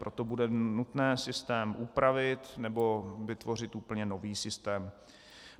Proto bude nutné systém upravit nebo vytvořit úplně nový systém.